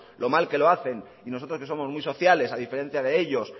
lo mal que lo hacen y nosotros que somos muy sociales a diferencia de ellos